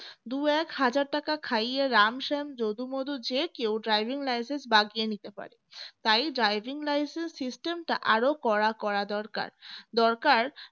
দুই এক হাজার টাকা খাইয়ে রাম শ্যাম যদু মধু যে কেউ driving licence বাগিয়ে নিতে পারে তাই driving licence system টা আরও কড়া করা দরকার দরকার